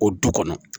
O du kɔnɔ